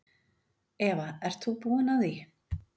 Eva: Ert þú búinn að því?